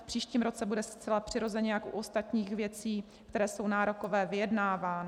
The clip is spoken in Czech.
V příštím roce bude zcela přirozeně jako u ostatních věcí, které jsou nárokové, vyjednáván.